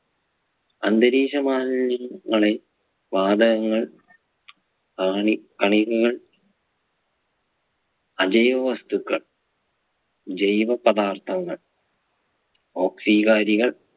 അന്തരീക്ഷ മാലിന്യങ്ങളെ വാതകങ്ങൾ കാണി കണികകൾ അജൈവ വസ്തുക്കൾ ജൈവ പദാർത്ഥങ്ങൾ ഓക്സികാരികൾ